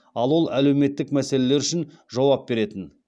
ал ол әлеуметтік мәселелер үшін жауап беретін